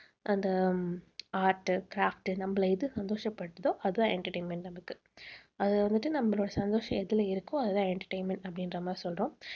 அந்த art, craft நம்மளை எது சந்தோஷப்படுத்துதோ அது தான் entertainment நமக்கு. அதை வந்துட்டு நம்மளோட சந்தோஷம் எதுல இருக்கோ அதுதான் entertainment அப்படின்ற மாதிரி சொல்றோம்